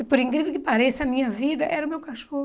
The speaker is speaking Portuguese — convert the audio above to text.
E por incrível que pareça, a minha vida era o meu cachorro.